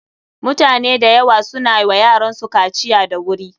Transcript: Mutane da yawa su na wa yaransu kaciya da wuri.